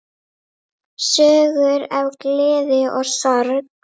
Sögur af gleði og sorgum.